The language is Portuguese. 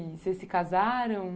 Vocês se casaram?